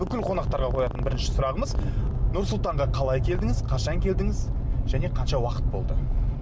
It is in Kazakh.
бүкіл қонақтарға қоятын бірінші сұрағымыз нұр сұлтанға қалай келдіңіз қашан келдіңіз және қанша уақыт болды